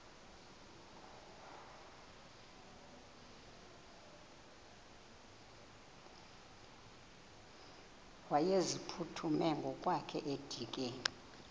wayeziphuthume ngokwakhe edikeni